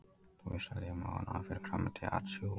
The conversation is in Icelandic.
Þú veist vel að ég er með ofnæmi fyrir grænmeti atsjú.